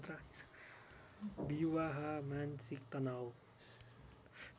विवाह मानसिक तनाउ